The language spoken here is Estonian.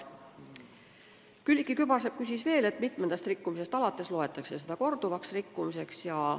Külliki Kübarsepp küsis veel, mitmendast rikkumisest alates loetakse rikkumist korduvaks.